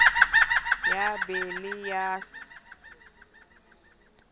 ya b le ya c